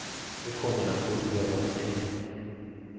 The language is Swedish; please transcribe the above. Vi kommer att få uppleva fred.